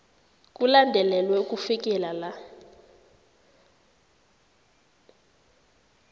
kulandelelwe ukufikela la